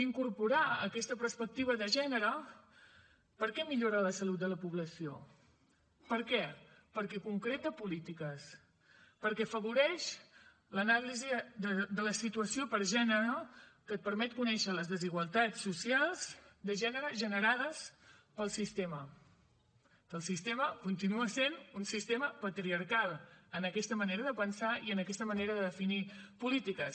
incorporar aquesta perspectiva de gènere per què millora la salut de la població per què perquè concreta polítiques perquè afavoreix l’anàlisi de la situació per gènere que et permet conèixer les desigualtats socials de gènere generades pel sistema que el sistema continua sent un sistema patriarcal en aquesta manera de pensar i en aquesta manera de definir polítiques